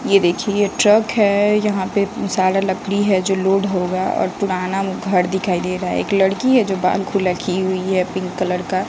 यह देखिए ट्रक है यहां पे सारा लकड़ी है जो लोड होगा और पुराना घर दिखाई दे रहा है एक लड़की है जो बाल खुला की हुई है पिंक कलर का।